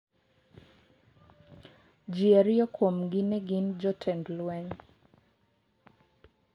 Jo ariyo kuomgi ne gin jotend lweny.